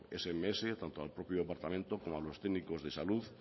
sms tanto al propio departamento como a los técnicos de salud